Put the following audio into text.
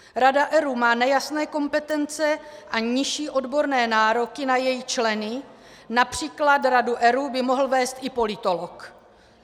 Rada ERÚ má nejasné kompetence a nižší odborné nároky na její členy, například radu ERÚ by mohl vést i politolog.